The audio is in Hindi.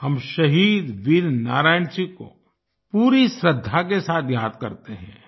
हम शहीद वीर नारायण सिंह को पूरी श्रद्धा के साथ याद करते हैं